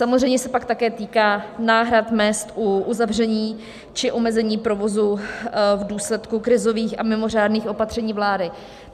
Samozřejmě se pak také týká náhrad mezd u uzavření či omezení provozu v důsledku krizových a mimořádných opatření vlády.